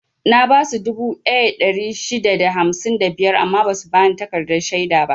Na basu dubu ɗaya da ɗari shida da hamsin da biyar amma basu bani takardar shaida ba.